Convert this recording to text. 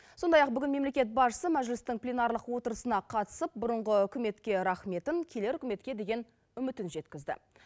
сондай ақ бүгін мемлекет басшысы мәжілістің пленарлық отырысына қатысып бұрынғы үкіметке рахметін келер үкіметке деген үмітін жеткізді